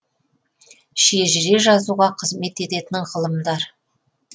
шежіре жазуға қызмет ететін ғылымдар